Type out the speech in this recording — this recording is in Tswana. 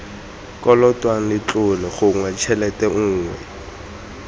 kolotwang letlole gongwe tshelete nngwe